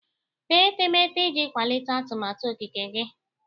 Tee etemeete iji kwalite atụmatụ okike gị.